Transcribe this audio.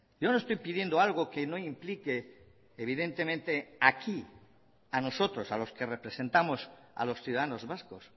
yo no estoy pidiendo algo que no implique evidentemente aquí a nosotros a los que representamos a los ciudadanos vascos